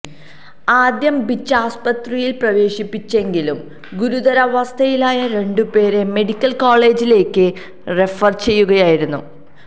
ആദ്യം ബീച്ചാസ്പത്രിയിൽ പ്രവേശിപ്പിച്ചെങ്കിലും ഗുരുതരാവസ്ഥയിലായ രണ്ടുപേരെ മെഡിക്കൽ കോളേജിലേക്ക് റെഫർ ചെയ്യുകയായിരുന്നു